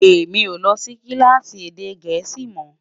èmi ọ ló Si kilaasi èdè gèésì mọ